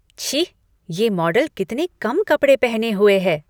छी! ये मॉडल कितने कम कपड़े पहने हुए हैं।